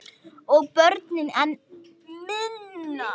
Og börnin enn minna.